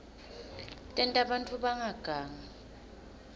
tenta bantfu bangagangi